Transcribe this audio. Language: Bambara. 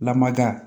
Lamada